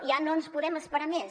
ja no ens podem esperar més